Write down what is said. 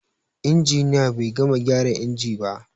Injiniya bai gama gyara inji ba.